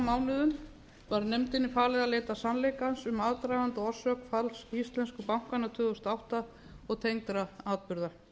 mánuðum var nefndinni falið að leita sannleikans um aðdraganda og orsök falls íslensku bankanna tvö þúsund og átta og tengdra atburða